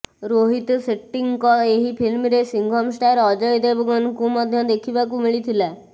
ରୋହିତ ସେଟ୍ଟୀଙ୍କ ଏହି ଫିଲ୍ମରେ ସିଙ୍ଘମ ଷ୍ଟାର ଅଜୟ ଦେବଗନ୍ଙ୍କୁ ମଧ୍ୟ ଦେଖିବାକୁ ମିଳିଥିଲା